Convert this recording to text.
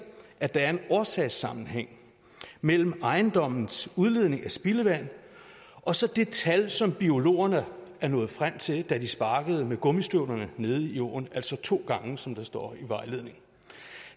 at der er en årsagssammenhæng mellem ejendommens udledning af spildevand og så det tal som biologerne nåede frem til da de sparkede med gummistøvlerne nede i åen altså to gange som der står i vejledningen